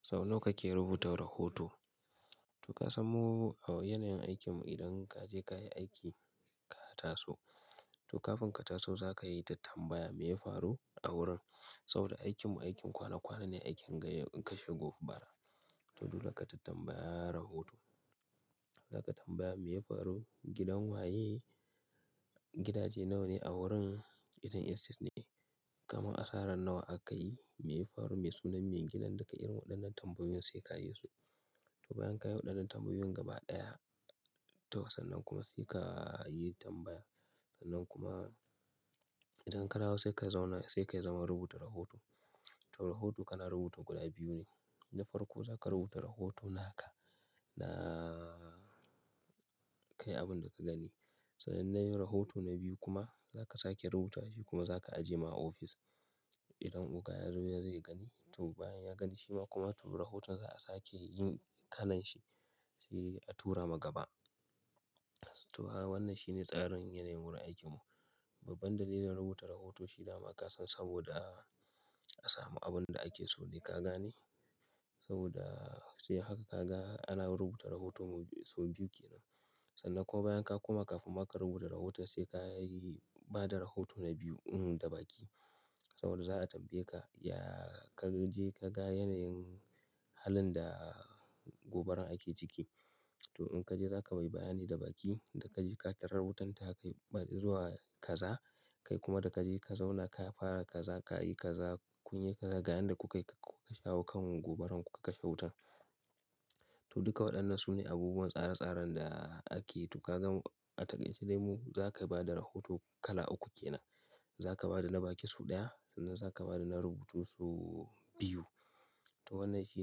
Sau nawa kake rubuta rahoto? To ka san mu a yanayin aikinmu idan ka je ka yi aiki ka taso, to kafin ka taso za ka yi ta tambaya me ya faru a wurin. Saboda aikinmu aikin kwana kwana ne, aikin kashe gobara. To dole ka tattambaya rahoto. Za ka tambaya me ya faru gidan waye, gidaje nawa ne a wurin, idan Estate ne. Kamar a sarar nawa aka yi, me ya faru mai sunan me gidan duk irin waɗannan tambayoyin sai ka yi su. To bayan ka yi waɗannan tambayoyin gaba ɗaya, to sannan kuma sai ka yi tambaya. Sannan kuma idan ka dawo sai ka zauna, sai kayi zaman rubuta rahoto. To rahoto kana rubuta guda biyu ne. Na farko za ka rubuta rahoto naka na kai abin da ka gani. Sai nan na yi rahoto na biyu kuma za ka sake rubutawa shi kuma za ka ajiye ma ofis. Idan oga ya zo zai gani, to bayan ya gani shi ma kuma to rahotan za'a sake yin kalan shi, sai a tura ma gaba. To kaga wannan shine tsarin yanayin wurin aikinmu. Toh banda dai rubuta rahoto shi dama ka san saboda a samu abin da ake so ne ka gane. Saboda sai haka ka ga ana rubuta rahoton mu sau biyu kenan. Sannan kuma bayan ka koma kafin ma ka rubuta rahoto sai ka yi bada rahoto na biyu, da baki. Saboda za a tambaye ka, ya ka je ka ga yanayin halin da gobarar ake ciki. To in ka je za ka mai bayani da baki, da ka je ka tarar wutar ta kai zuwa kaza, kai kuma da ka je ka zauna ka fara kaza, ka yi kaza, kun yi kaza ga yadda kuka shawo kan gobarar kuka kashe wuta. To duka waɗannan su ne abubuwan tsare tsaren da ake yi. To ka gan a taƙaice, dai mu za ka bada rahoto kala uku kenan. Za ka bada na baki sau ɗaya, sannan za ka bada na rubutu sau biyu. To wannan shi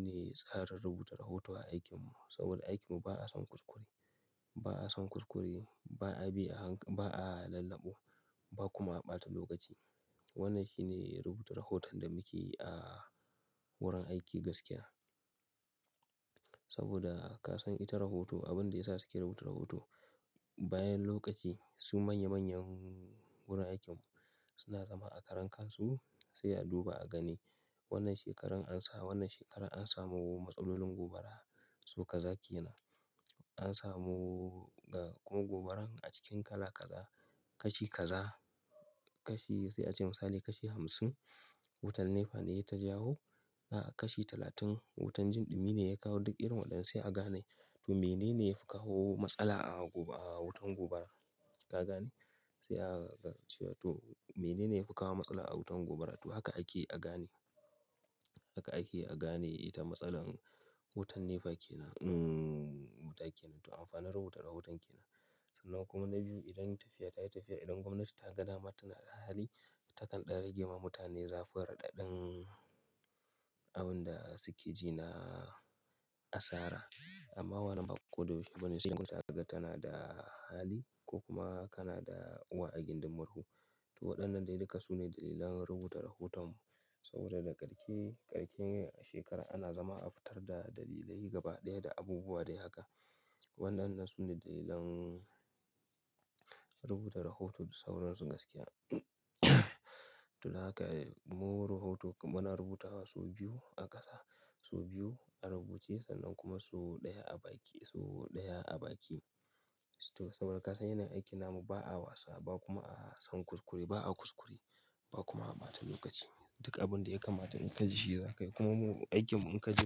ne tsarin rubuta rahoto a aikinmu. Saboda aikinmu ba'a son kuskure, ba'a son kuskure, ba'a bi a hankali, ba'a lallaɓu, ba kuma a ɓata lokaci. Wannan shi ne rubuta rahoton da muke yi a wurin aiki gaskiya. Saboda ka san ita rahoto abin da ya sa su ke rubuta rahoto, bayan lokaci su manya manyan wurin aikinmu suna zama a karan kansu sai a duba a gani. Wannan shekarar an samu, wannan shekarar an samu matsalyolin gobara sau kaza kenan. An samu ga kuma gobarar a cikin kala kaza, kashi kaza, kashi sai a ce misali kashi hamsin. Wutan NEPA ne ya ta jawo. A kashi talatin wutan jinɗumi ne ya kawo duk irin waɗannan sai a gane. To mene ne ya fi kawo matsala a goba, a wutan gobara? Ka gane? Sai a cewa to mene ne ya fi kawo matsala a wutan gobara? To haka ake a gane. Haka ake a gane ita matsalar wutan NEPA kenan, wuta kenan. To amfanin rubuta rahoton kenan. Sannan kuma na biyu idan tafiya ta yi tafiya, idan gwamnati ta ga dama tana da hali, ta kan ɗan ragame wa mutane zafun raɗaɗin abin da suke ji na asara. Amma wannan ba ko da yaushe bane sai in gwamnati ta ga tana da hali ko kuma kana da uwa a gindin murhu. To waɗannan dai duka su ne dalilan rubuta rahoton mu. Saboda da karshe, karshen shekara ana zama a fitar da dalilai gaba ɗaya da abubuwa dai haka. Waɗannan su ne dalilan rubuta rahoto da sauran su gaskiya. To dan haka mu rahoto muna rubutawa sau biyu a ƙasa, sau biyu a rubuce sannan kuma sau ɗaya a baki, sau ɗaya a baki. To saboda ka san yanayin aikin namu ba'a wasa ba kuma a son kuskure, ba'a kuskure ba kuma a ɓata lokaci. Duk abin da ya kamata in ka ji shi za ka yi. Kuma mu aikinmu in ka je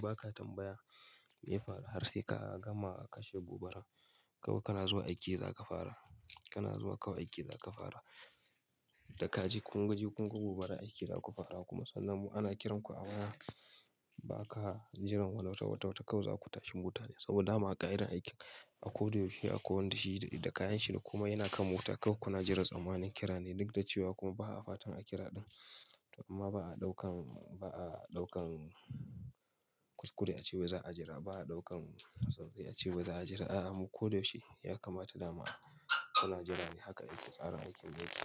ba ka tambaya me ya faru har sai ka gama kashe gobara, kawai kana zuwa aiki za ka fara. Ka na zuwa kawai aiki za ka fara. Da ka je kun ga gobarar aiki za ku fara kuma sannan mu ana kiran ku a waya ba ka jiran wata wata wata kawai za ku tashi motane. Saboda dama aƙa'idar aikin a ko da yaushe akwai wanda shi da kayan shi da kuma yana kan mota kawai kuna jiran tsammanin kira ne duk da cewa kuma ba a fatan a kira ɗan. Kuma ba a ɗaukan, ba a ɗaukan kuskure ace wai za'a jira. Ba a ɗaukan sauƙai a cewa za a jira. A'a mu ko da yaushe ya kamata dama a kana jira ne. Haka yake tsarin aikin mu yake.